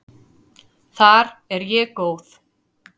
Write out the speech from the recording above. Þar er ég góð.